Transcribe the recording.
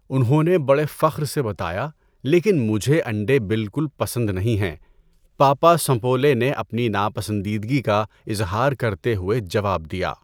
انہوں نے بڑے فخر سے بتایا لیکن مجھے انڈے بالکل پسند نہیں ہیں، پاپا سنپولے نے اپنی ناپسندیدگی کا اظہار کرتے ہوئے جواب دیا۔